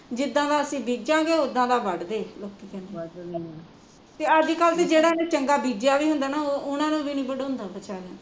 ਜਿਦਾਂ ਦਾ ਅਸੀਂ ਬੀਜਾਂਗੇ ਓਦਾ ਦਾ ਵੱਡਦੇ ਅੱਗੇ ਤੇ ਅੱਜ ਕੱਲ੍ ਜਿਹਨਾਂ ਨੇ ਚੰਗਾ ਬੀਜਿਆ ਵੀ ਹੁੰਦਾ ਨਾ ਓਹਨਾਂ ਨੂ ਵੀ ਨੀ ਵਡਾਉਂਦਾ ਵਿਚਾਰਿਆ ਨੂ